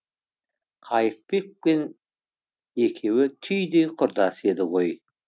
қайыпбек пен екеуі түйдей құрдас еді ғой